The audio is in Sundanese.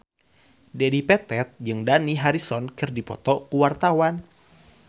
Dedi Petet jeung Dani Harrison keur dipoto ku wartawan